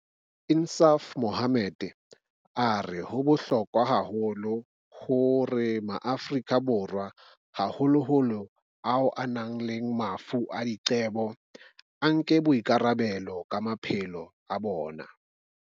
Insaaf Mohamed o re ho bohlokwa haholo hore Maafrika Borwa, haholoholo ao a nang le mafu a diqebo, a nke boikarabelo ka maphelo a bona.